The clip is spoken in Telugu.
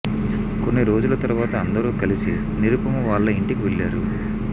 కొన్ని రోజుల తర్వాత అందరూ కలిసి నిరుపమ వాళ్ళ ఇంటికి వెళ్ళారు